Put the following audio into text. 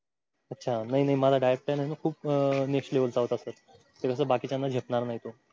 अच्छा नाही नाही माझा diet plan आहे खूप next level चा होता sir ते कसं बाकीच्यांना झेपणार नाही तो.